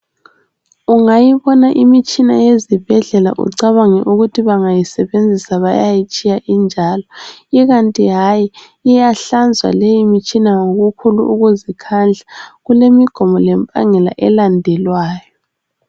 Ungayibona imitshina yezibhedlela ucabange ukuthi bangayisebenzisa, bayayitshiya injalo. lkanti hayi, iyahlanzwa limitshina, ngokukhulu ukuzikhandla. Kulemigomo lemibandela, elandelwayo.